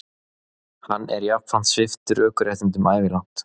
Hann er jafnframt sviptur ökuréttindum ævilangt